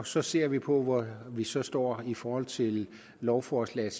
så ser vi på hvor vi så står i forhold til lovforslaget